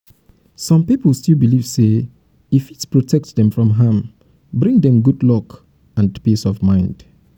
wetin um be di reason why um some um people still dey believe in protection rituals and charms?